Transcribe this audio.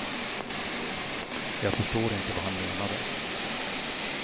Jag förstår inte vad han menade.